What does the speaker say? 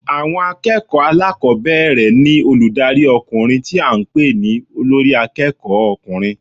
Àwọn akéèkòó alákòbéèrè ní olùdarí okùnrin tí a n pè ní Olórí akéèkó ọkùnrin